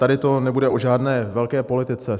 Tady to nebude o žádné velké politice.